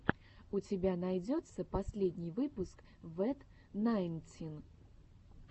у тебя найдется последний выпуск вэт найнтин